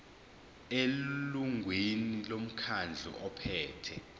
elungwini lomkhandlu ophethe